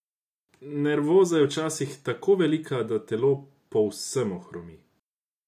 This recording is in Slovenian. Nervoza je včasih tako velika, da telo povsem ohromi.